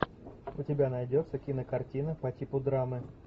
у тебя найдется кинокартина по типу драмы